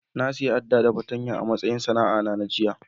Na siya Adda da fatanya a'matsayin sana'a na jiya.